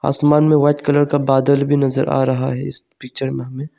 आसमान में white colour का बादल भी नजर आ रहा है इस पिक्चर में हमें।